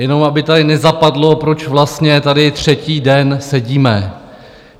Jenom aby tady nezapadlo, proč vlastně tady třetí den sedíme.